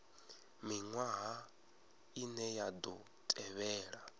miṅwaha ine ya ḓo tevhela